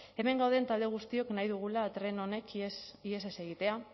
hemen gauden talde guztiok nahi dugula tren honek ihes ez egitea